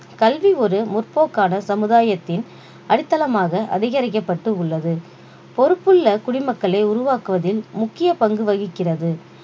கல்வி ஒரு முற்போக்கான சமுதாயத்தின் அடித்தளமாக அதிகரிக்கப்பட்டு உள்ளது பொறுப்புள்ள குடிமக்களை உருவாக்குவதில் முக்கிய பங்கு வகிக்கிறது